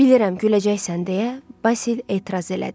Bilirəm, güləcəksən, deyə Basil etiraz elədi.